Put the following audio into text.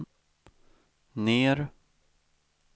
ner